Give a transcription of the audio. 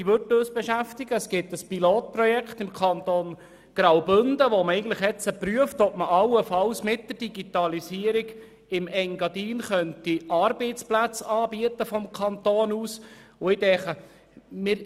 Im Kanton Graubünden gibt es ein Pilotprojekt, in welchem geprüft wird, ob man allenfalls mit der Digitalisierung seitens des Kantons Arbeitsplätze im Engadin anbieten könnte.